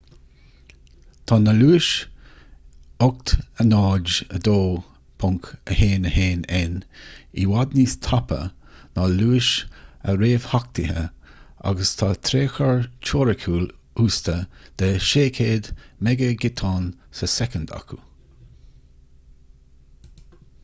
tá na luais 802.11n i bhfad níos tapa ná luais a réamhtheachtaithe agus tá tréchur teoiriciúil uasta de600m ghiotán sa soicind acu